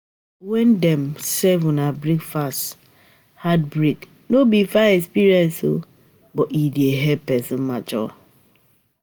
When Dem serve una breakfast (heartbreak)no be fine experience oo but e dey help person mature